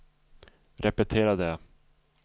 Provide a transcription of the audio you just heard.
repetera det